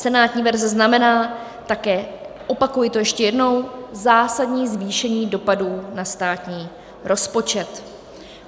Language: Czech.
Senátní verze znamená také - opakuji to ještě jednou - zásadní zvýšení dopadů na státní rozpočet.